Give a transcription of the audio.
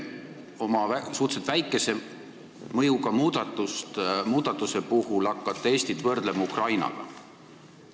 Oma suhteliselt väikese mõjuga muudatuse puhul te hakkate Eestit võrdlema Ukrainaga.